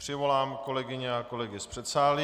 Přivolám kolegyně a kolegy z předsálí.